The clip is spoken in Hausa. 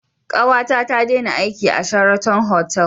Kawata ta dena aiki a Sheraton otal